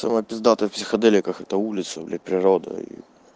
самое пиздатое в психоделиках это улица блять природа и